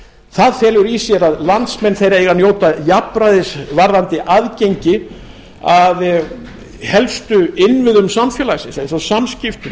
það felur í sér að landsmenn þeir eiga að njóta jafnræðis varðandi aðgengi að helstu innviðum samfélagsins eins og samskiptum